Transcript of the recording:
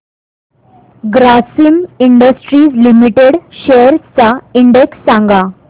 Grasim industries limited shares चा index सांगा